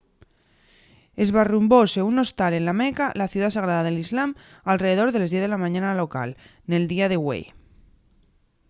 esbarrumbośe un hostal en la meca la ciudá sagrada del islam alredor de les 10 de la mañana hora local nel día de güei